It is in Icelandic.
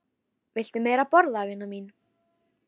Viltu meira að borða, vina mín